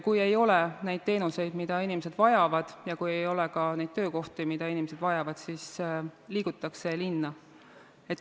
Kui ei ole neid teenuseid, mida inimesed vajavad, ja kui ei ole ka töökohti, mida inimesed vajavad, siis liigutakse linna.